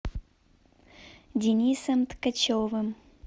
денисом ткачевым